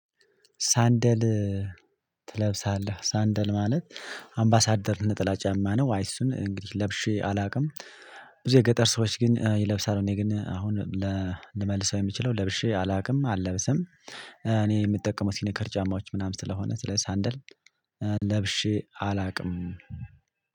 "ሳንደል ትለብሳለህ?" ሳንደል ማለት፤ አምባሳደር ነጠላ ጫማ ነው። አይ እሱን እንግዲህ ለብሼ አላውቅም። ብዙ የገጠር ሰዎች ግን ይለብሳሉ፤ እኔ ግን አሁን ልመልሰው የምችለው ለብሼ አላውቅም፤ አልለብሰም። እኔ የምጠቀመው ሲኒከር ጫማዎች ምናምን ስለሆነ፤ ስለ ሳንደል ለብሼ አላውቅም።